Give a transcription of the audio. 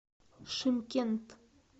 шымкент